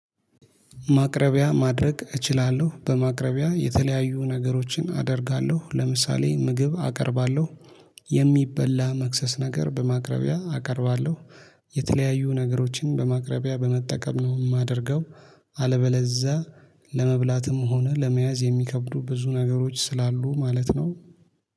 ማቅረቢያ ማድረግ እችላለሁ በማቅረቢያ የተለያዩ ነገሮችን አደርጋለሁ ለምሳሌ ምግብ አቀርባለሁ የሚበላ መክሰስ ነገር በማቅረቢያ አቀርባለሁ። የተለያዩ ነገሮችን በማቅረቢያ በመጠቀም ነው የማደርገው። አለበለዛ ለመብላትም ሆነ ለመያዝ የሚከብዱ ብዙ ነገሮች ስላሉ ማለት ነው